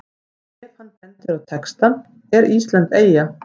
Ef hann bendir á textann ER ÍSLAND EYJA?